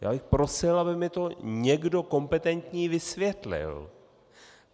Já bych prosil, aby mi to někdo kompetentní vysvětlil.